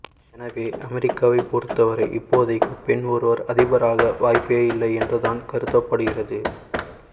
எனவே அமெரிக்காவை பொருத்தவரை இப்போதைக்கு பெண் ஒருவர் அதிபராக வாய்ப்பே இல்லை என்றுதான் கருதப்படுகிறது